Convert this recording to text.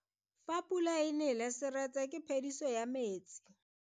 Fa pula e nele seretse ke phediso ya metsi.